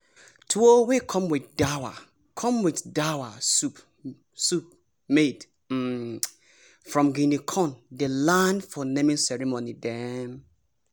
tuwo wey come with dawa come with dawa soup made um from guinea corn dey land for naming ceremony dem.